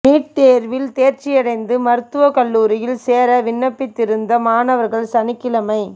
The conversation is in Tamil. நீட் தேர்வில் தேர்ச்சியடைந்து மருத்துவக் கல்லூரியில் சேர விண்ணப்பித்திருந்த மாணவர்கள் சனிக்கிழமை